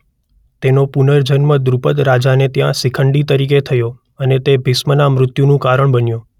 તેનો પુનર્જન્મ દ્રુપદ રાજાને ત્યાં શિખંડી તરીકે થયો અને તે ભીષ્મના મૃત્યુનુ કારણ બન્યો.